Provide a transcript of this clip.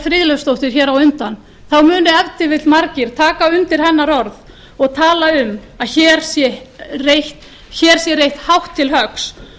friðleifsdóttur hér á undan munu ef til vill margir taka undir hennar orð og tala um að hér sé reitt hátt til höggs og enn aðrir